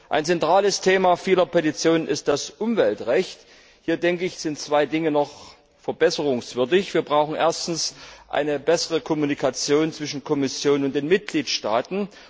Ein zentrales Thema vieler Petitionen ist das Umweltrecht. Hier, denke ich, sind zwei Dinge noch verbesserungswürdig Wir brauchen erstens eine bessere Kommunikation zwischen Kommission und Mitgliedstaaten.